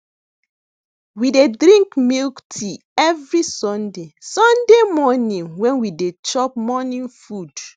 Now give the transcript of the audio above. we dey drink milk tea every sunday sunday morning when we dey chop morning food